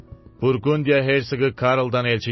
Burqundiya hersoqu Karldan elçi gəlib.